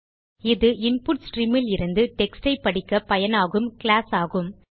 இது இன்புட் streamலிருந்து டெக்ஸ்ட் ஐ படிக்கப் பயனாகும் கிளாஸ் ஆகும்